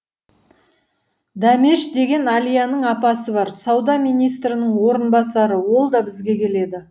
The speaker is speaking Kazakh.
дәмеш деген әлияның апасы бар сауда министрінің орынбасары ол да бізге келеді